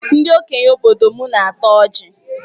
Ndị okenye obodo m na-ata ọjị.